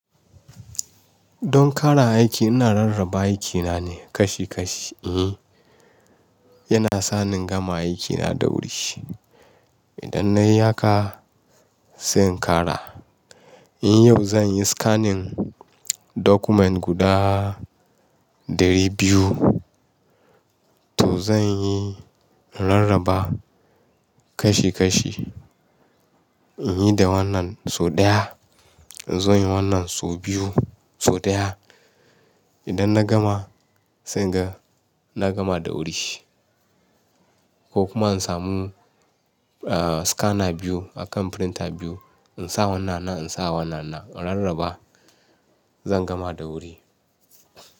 Don ƙara aiki ina rarraba aikina ne kashi kashi. E, yana sa ni gama aikina da wuri. Idan nayi haka sai in ƙara. In yau zan yi scanning document guda ɗari biyu, to zan yi rarraba kashi kashi. In yi da wannan sau ɗaya, in zo yin wannan sau biyu, sau ɗaya. Idan na gama sai in ga na gama da wuri. Ko kuma in samu, ah, scanner biyu akan printer biyu in sa wannan nan, in sa wannan nan in rarraba zan gama da wuri.